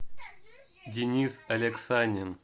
денис алексанин